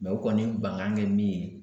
u kɔni bankan kɛ min ye